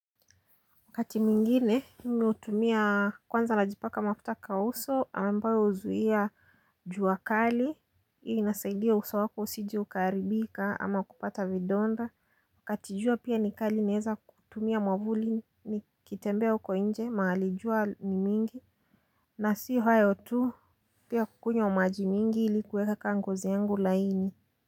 Wakati mwingine, mimi hutumia kwanza najipaka mafuta kwa uso ambayo huzuia jua kali. Inasaidia uso wako usije ukaharibika ama kupata vidonda wakati jua pia ni kali naeza kutumia mwavuli nikitembea uko nje mahali jua ni mingi. Na si hayo tu pia kukunywa maji mingi ilikuweka ngozi yangu laini.